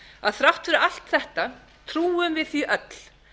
að þrátt fyrir allt þetta trúum við því öll